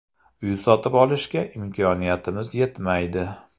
Uy sotib olishga imkoniyatimiz yetmaydi.